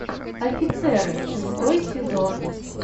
офицеры шестой сезон